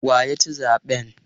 Wa ya ci zaɓen?